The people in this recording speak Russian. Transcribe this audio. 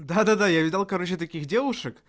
да-да-да я видал короче таких девушек